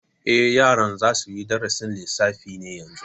Eh, yaran za suyi darasin lissafi ne yanzu